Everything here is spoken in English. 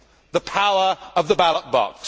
The power of the ballot box.